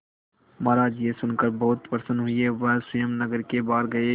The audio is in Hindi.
महाराज यह सुनकर बहुत प्रसन्न हुए वह स्वयं नगर के बाहर गए